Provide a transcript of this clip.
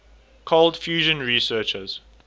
cold fusion researchers